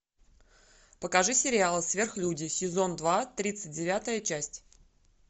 покажи сериал сверхлюди сезон два тридцать девятая часть